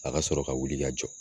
A ka sɔrɔ ka wuli ka jɔ